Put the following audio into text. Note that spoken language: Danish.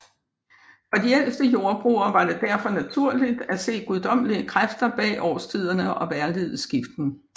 For de ældste jordbrugere var det derfor naturligt at se guddommelige kræfter bag årstidernes og vejrligets skiften